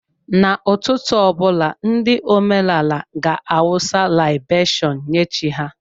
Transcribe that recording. N'ụtụtụ ọ bụla, ndị omenaala ga-awụsa laibeshon nye chi ha.